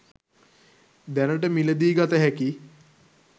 දැනට මිලදී ගත හැකි